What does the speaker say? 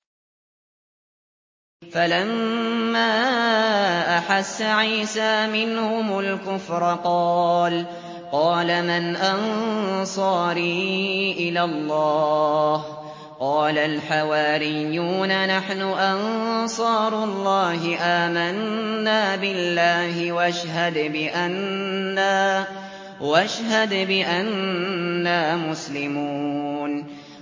۞ فَلَمَّا أَحَسَّ عِيسَىٰ مِنْهُمُ الْكُفْرَ قَالَ مَنْ أَنصَارِي إِلَى اللَّهِ ۖ قَالَ الْحَوَارِيُّونَ نَحْنُ أَنصَارُ اللَّهِ آمَنَّا بِاللَّهِ وَاشْهَدْ بِأَنَّا مُسْلِمُونَ